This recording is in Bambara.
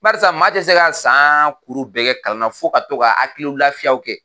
Barisa maa tɛ se ka san kuru bɛɛ kɛ kalan na fɔ ka to ka haki lafiyaw kɛ!